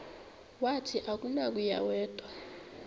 wathi akunakuya wedw